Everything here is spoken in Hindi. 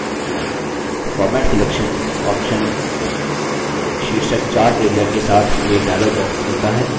format selection option शीर्षक chart area के साथ एक dialog box खोलता है